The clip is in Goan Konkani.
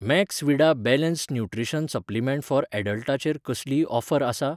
Maxvida balanced nutrition supplement for ऍडल्टाचेर कसलीय ऑफर आसा ?